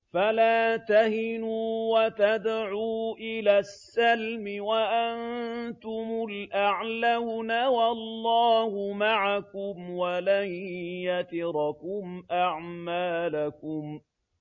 فَلَا تَهِنُوا وَتَدْعُوا إِلَى السَّلْمِ وَأَنتُمُ الْأَعْلَوْنَ وَاللَّهُ مَعَكُمْ وَلَن يَتِرَكُمْ أَعْمَالَكُمْ